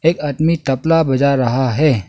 एक आदमी तबला बजा रहा है।